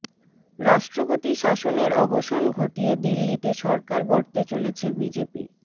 রাষ্ট্রপতি শাসনের অবসান ঘটিয়ে দিল্লিতে সরকার গড়তে চলেছে বিজেপি